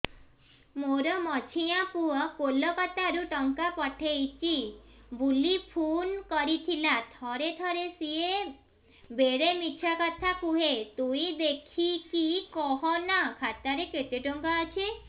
ମୋର ମଝିଆ ପୁଅ କୋଲକତା ରୁ ଟଙ୍କା ପଠେଇଚି ବୁଲି ଫୁନ କରିଥିଲା ଥରେ ଥରେ ସିଏ ବେଡେ ମିଛ କଥା କୁହେ ତୁଇ ଦେଖିକି କହନା ଖାତାରେ କେତ ଟଙ୍କା ଅଛି